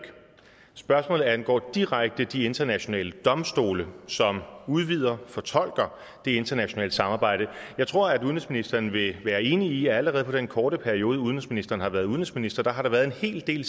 spørgsmålet angår direkte de internationale domstole som udvider og fortolker det internationale samarbejde jeg tror at udenrigsministeren vil være enig i at allerede i den korte periode udenrigsministeren har været udenrigsminister har der været en hel del